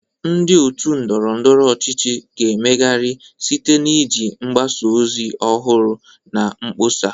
Ndị otu ndọrọ ndọrọ ọchịchị ga-emegharị site na iji mgbasa ozi ọhụrụ na mkpọsa.